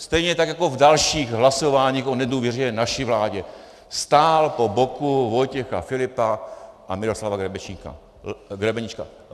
Stejně tak jako v dalších hlasováních o nedůvěře naší vládě stál po boku Vojtěcha Filipa a Miroslava Grebeníčka.